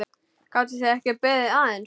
Gátuð þið ekki beðið aðeins?